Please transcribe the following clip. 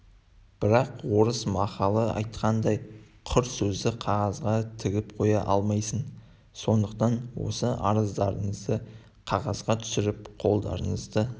бірақ орыс мақалы айтқандай құр сөзді қағазға тігіп қоя алмайсың сондықтан осы арыздарыңызды қағазға түсіріп қолдарыңызды